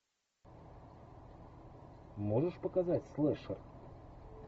можешь показать слэшер